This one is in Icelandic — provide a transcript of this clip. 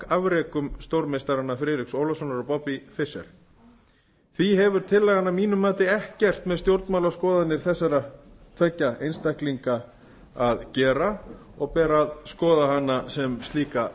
skákafrekum stórmeistaranna friðriks ólafssonar og bobbys fischers því hefur tillagan að mínu mati ekkert með stjórnmálaskoðanir þessara tveggja einstaklinga að gera og ber að skoða hana sem slíka